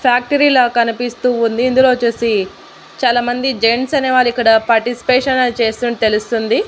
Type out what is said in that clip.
Factory లా కనిపిస్తూ ఉంది ఇందులో వొచ్చేసి చాలామంది జెంట్స్ అనేవాళ్ళు ఇక్కడ పాటిస్పేషన్ అనే చేస్తున్నట్టు తెలుస్తుంది.